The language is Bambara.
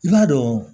I b'a dɔn